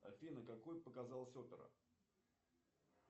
афина какой показалась опера